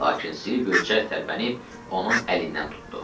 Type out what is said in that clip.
Lakin Silvio cəld tərpənib onun əlindən tutdu.